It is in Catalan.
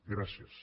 gràcies